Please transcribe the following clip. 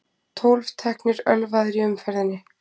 Tólf teknir ölvaðir í umferðinni